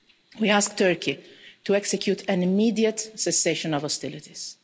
We ask Turkey to execute an immediate cessation of hostilities.